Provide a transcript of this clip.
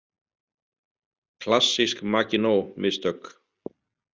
Klassísk Maginot- mistök